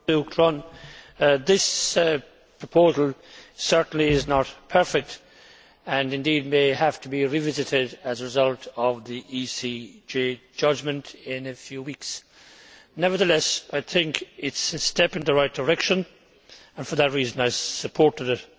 Madam President, this proposal is certainly not perfect, and indeed may have to be revisited as a result of the ECJ judgment in a few weeks. Nevertheless, I think it is a step in the right direction, and for that reason I supported it.